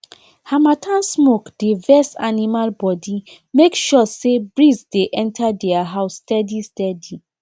harmattan smoke dey vex animal body make sure say breeze dey enter their house steadysteady